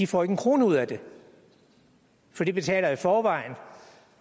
får en krone ud af det for de betaler i forvejen